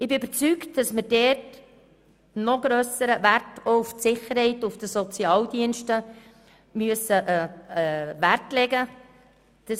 Ich bin überzeugt, dass wir dadurch noch stärker auf die Sicherheit der Sozialdienste Wert legen müssen.